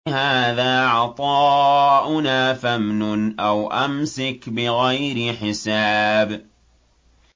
هَٰذَا عَطَاؤُنَا فَامْنُنْ أَوْ أَمْسِكْ بِغَيْرِ حِسَابٍ